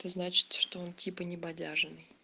значит что он типа небодяженный